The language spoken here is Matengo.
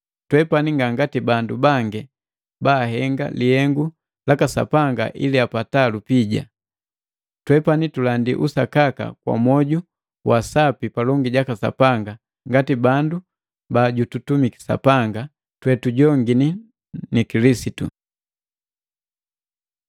Twepani ngangati bandu bangi baahenga lihengu laka Sapanga ili apata lupija. Twepani tulandi usakaka kwa mwoju wa sapi palongi jaka Sapanga ngati bandu tojututumiki Sapanga, totujongini na Kilisitu.